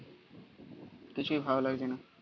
কিছুই ভালো লাগছে না.